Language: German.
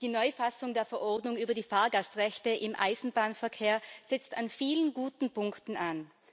Die Neufassung der Verordnung über die Fahrgastrechte im Eisenbahnverkehr setzt an vielen guten Punkten an.